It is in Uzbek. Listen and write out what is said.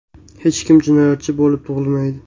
Hech kim jinoyatchi bo‘lib tug‘ilmaydi.